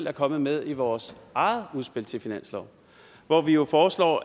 er kommet med i vores eget udspil til finanslov hvor vi jo foreslår